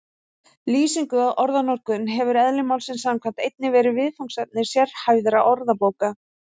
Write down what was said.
Lýsing á orðanotkun hefur eðli málsins samkvæmt einnig verið viðfangsefni sérhæfðra orðabóka.